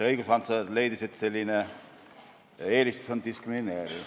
Õiguskantsler leidis, et selline eelistus on diskrimineeriv.